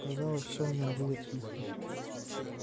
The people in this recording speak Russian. казалось всё в нём было тихо